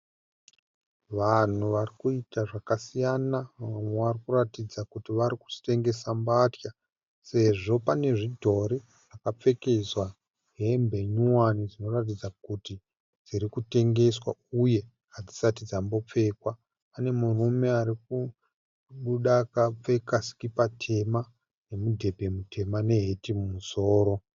Vanhu varikuita zvakasiyana. Vamwe varikuratidza kuti varikutengesa mbatya sezvo pane zvidhori zvakapfekedzwa hembe nyowani dzinoratidza kuti dzirikutengeswa uye hadzisati dzambopfekwa. Pane murume arikubuda akapfeka sikipa tema, mudhebhe mutema neheti mumusoro.